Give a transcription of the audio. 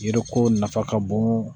Yiriko nafa ka bon